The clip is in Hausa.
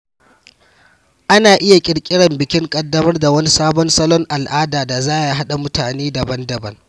Ana iya ƙirƙirar bikin ƙaddamar da wani sabon salon al’ada da za ya haɗa mutane daban-daban.